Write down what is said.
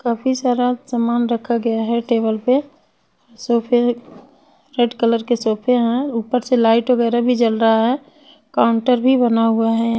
काफी सारा सामान रखा गया है टेबल पे सोफे रेड कलर के सोफे है ऊपर से लाईट वगैरा भी जल रहा है काउंटर भी बना हुआ है।